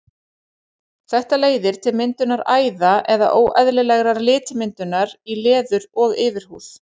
Þetta leiðir til myndunar æða eða óeðlilegrar litmyndunar í leður- og yfirhúð.